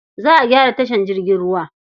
Za a gyara tashar jirgin ruwar.